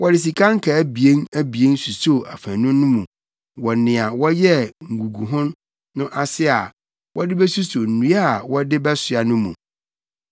Wɔde sika nkaa abien abien susoo afanu no mu wɔ nea wɔyɛɛ nguguho no ase a wɔde besuso nnua a wɔde bɛsoa no mu.